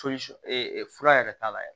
fura yɛrɛ t'a la